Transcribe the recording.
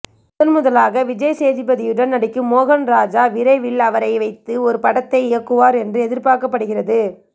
முதன்முதலாக விஜய் சேதுபதியுடன் நடிக்கும் மோகன்ராஜா விரைவில் அவரை வைத்து ஒரு படத்தையும் இயக்குவார் என்று எதிர்பார்க்கப்படுகிறது